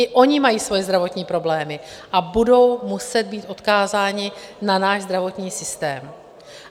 I oni mají svoje zdravotní problémy a budou muset být odkázáni na náš zdravotní systém.